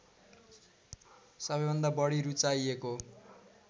सबैभन्दा बढी रूचाइएको